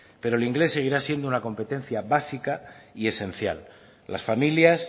pero el inglés seguirá siendo una competencia básica y esencial las familias